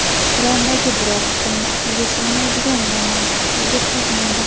Qur’ondagi biror hukmni aqlga sig‘maydigan va mantiqsiz deb topmaydi.